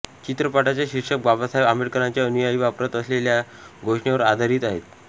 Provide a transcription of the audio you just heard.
चित्रपटाचे शीर्षक बाबासाहेब आंबेडकरांचे अनुयायी वापरत असलेल्या घोषणेवर आधारित आहे